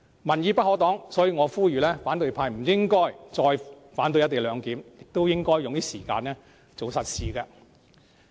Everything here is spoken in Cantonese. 民意不可擋，所以我呼籲反對派不應該再反對"一地兩檢"，應多花時間做實事。